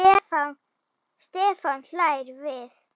Stefán hlær við.